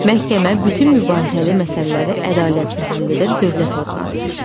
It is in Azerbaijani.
Məhkəmə bütün mübahisəli məsələləri ədalətlə həll edən dövlət orqanıdır.